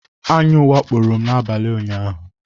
Aṅụ wakporo m n'abalị ụnyaahụ.